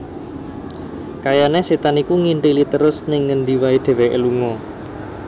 Kayane setan iku nginthili trus ning ngendi wae dheweke lunga